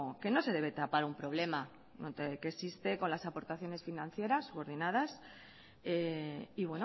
que no se debe tapar un problema que existe con las aportaciones financieras coordinadas y